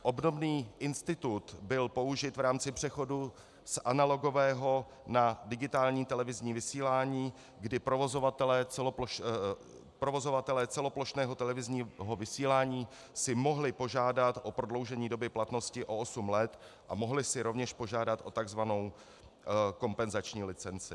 Obdobný institut byl použit v rámci přechodu z analogového na digitální televizní vysílání, kdy provozovatelé celoplošného televizního vysílání si mohli požádat o prodloužení doby platnosti o osm let a mohli si rovněž požádat o tzv. kompenzační licenci.